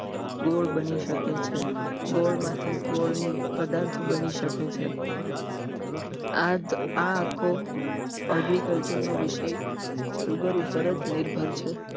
ગોળ બની શકે છે ગોળમાંથી ગોળ ની પદાર્થ બની શકે છે આ આખો agriculture નો વિષય sugar ઉપર જ નિર્ભર છે